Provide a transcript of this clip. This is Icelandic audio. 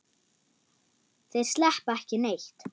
Þeir sleppa ekki neitt.